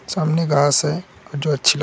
सामने घास है और जो अच्छी लग --